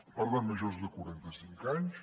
per tant majors de quaranta cinc anys